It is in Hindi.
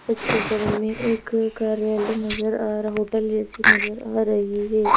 इस चित्र में एक कार्यालय नजर आ रहा होटल जैसी नजर आ रहीं हैं।